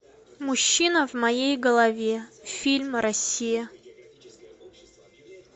мужчина в моей голове фильм россия